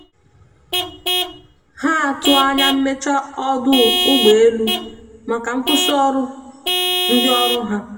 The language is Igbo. ha atụ anya mmeche ọdụ ụgbọ elụ maka nkwụsi ọrụ ndi ọrụ ha